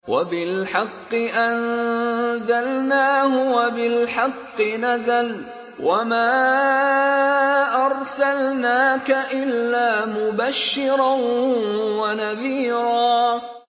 وَبِالْحَقِّ أَنزَلْنَاهُ وَبِالْحَقِّ نَزَلَ ۗ وَمَا أَرْسَلْنَاكَ إِلَّا مُبَشِّرًا وَنَذِيرًا